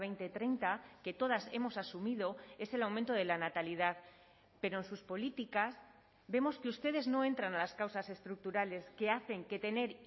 dos mil treinta que todas hemos asumido es el aumento de la natalidad pero en sus políticas vemos que ustedes no entran a las causas estructurales que hacen que tener